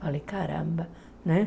Falei, caramba, né?